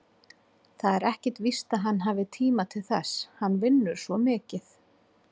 Það er ekkert víst að hann hafi tíma til þess, hann vinnur svo mikið.